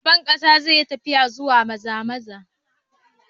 Shugaban kasa zai yi tafiya zuwa Maza-maza.